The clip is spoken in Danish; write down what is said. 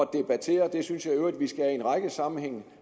debattere det synes jeg i øvrigt vi skal i en række sammenhænge